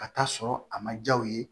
Ka taa sɔrɔ a ma ja u ye